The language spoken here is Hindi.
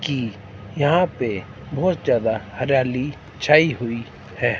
की यहां पे बहोत ज्यादा हरियाली छाई हुई है।